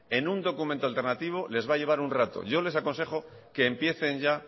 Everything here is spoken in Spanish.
en un documento alternativo les va a llevar un rato yo les aconsejo que empiecen ya